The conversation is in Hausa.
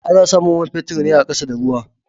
Ana samun man fetur ne a ƙasa da ruwa.